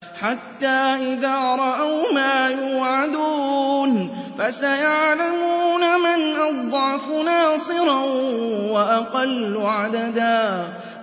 حَتَّىٰ إِذَا رَأَوْا مَا يُوعَدُونَ فَسَيَعْلَمُونَ مَنْ أَضْعَفُ نَاصِرًا وَأَقَلُّ عَدَدًا